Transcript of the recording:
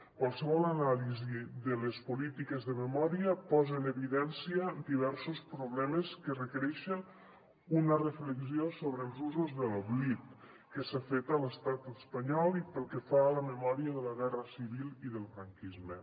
qualsevol anàlisi de les polítiques de memòria posa en evidència diversos problemes que requereixen una reflexió sobre els usos de l’oblit que s’ha fet a l’estat espanyol i pel que fa a la memòria de la guerra civil i del franquisme